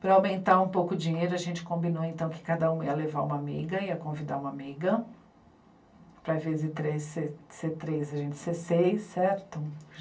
Para aumentar um pouco o dinheiro, a gente combinou então que cada uma ia levar uma amiga, ia convidar uma amiga, para em vez de três, ser... ser três, a gente ser seis, certo?